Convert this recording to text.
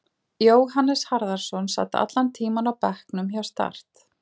Jóhannes Harðarson sat allan tímann á bekknum hjá Start.